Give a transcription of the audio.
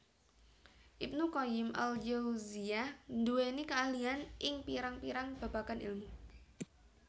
Ibnu Qayyim al Jauziyyah nduweni keahlian ing pirang pirang babagan ilmu